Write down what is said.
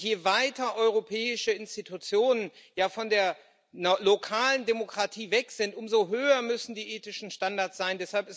Und je weiter europäische Institutionen von der lokalen Demokratie weg sind, umso höher müssen die ethischen Standards sein.